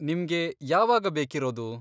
ನಿಮ್ಗೆ ಯಾವಾಗ ಬೇಕಿರೋದು?